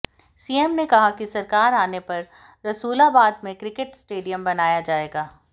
CM ने कहा कि सरकार आने पर रसूलाबाद में क्रिकेट स्टेडियम बनाया जाएगा